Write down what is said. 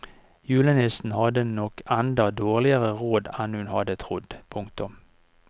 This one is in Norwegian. Julenissen hadde nok enda dårligere råd enn hun hadde trodd. punktum